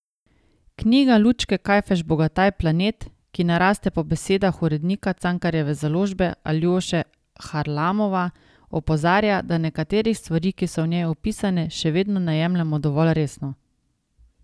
Knjiga Lučke Kajfež Bogataj Planet, ki ne raste po besedah urednika Cankarjeve založbe Aljoše Harlamova opozarja, da nekaterih stvari, ki so v njej opisane, še vedno ne jemljemo dovolj resno.